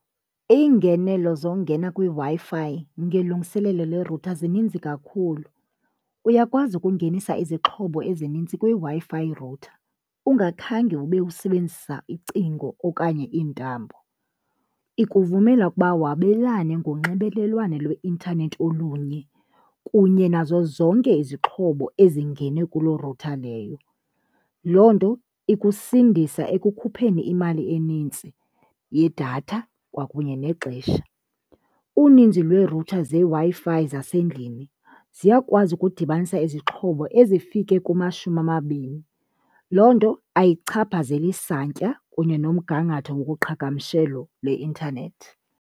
Iingenelo zongena kwiWi-Fi ngelungiselelo le-router zininzi kakhulu. Uyakwazi ukungenisa izixhobo ezinintsi kwiWi-Fi router ungakhange ube usebenzisa icingo okanye iintambo. Ikuvumela kuba wabelane ngonxibelelwano lweintanethi olunye kunye nazo zonke izixhobo ezingene kuloo router leyo. Loo nto ikusindisa ekukhupheni imali enintsi yedatha kwakunye nexesha. Uninzi lwee-router zeWi-Fi zasendlini ziyakwazi ukudibanisa izixhobo ezifike kumashumi amabini, loo nto ayichaphazeli santya kunye nomgangatho wokuqhagamshelo lweintanethi.